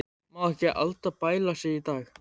Má ekki Alda bæla sig í dag.